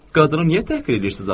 Qadını niyə təhqir edirsiniz axı?